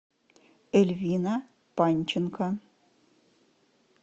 эльвина панченко